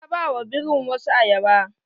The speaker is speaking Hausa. Ta ba wa birin wasu ayaba.